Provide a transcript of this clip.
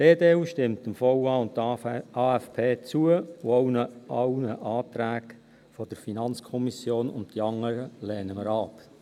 Die EDU-Fraktion stimmt dem VA, dem AFP und allen Anträgen der FiKo zu, die anderen lehnen wir ab.